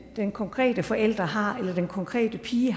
den konkrete forælder har eller den konkrete pige i